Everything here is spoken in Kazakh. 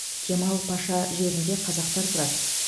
кемал паша жерінде қазақтар тұрады